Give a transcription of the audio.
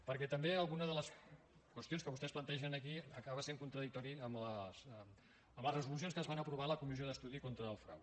perquè també alguna de les qüestions que vostès plantegen aquí acaba sent contradictòria amb les resolucions que es van aprovar a la comissió d’estudi contra el frau